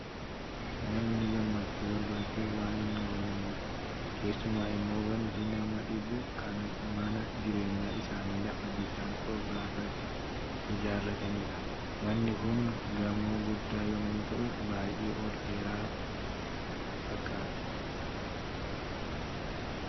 Namni gammachuu barbaachaaf waan hin goone hin qabu. Keessumaa immoo wanti nama dhibu, kan mana jireenyaa isaanii lafa bishaan qarqaraatti ijaarratanidha. Manni kun gamoo guddaa yommuu ta'u, baay'ee ol dheeraa fakkaata.